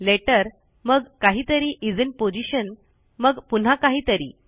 letter मग काहीतरी is in position मग पुन्हा काहीतरी